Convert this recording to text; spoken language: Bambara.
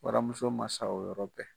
Waramuso ma sa o yɔrɔ bɛ.